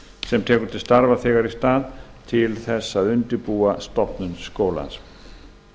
sem tekur til starfa þegar í stað til þess að undirbúa stofnun skólans